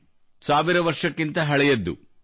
ಇದು ಸಾವಿರ ವರ್ಷಕ್ಕಿಂತ ಹಳೆಯದ್ದು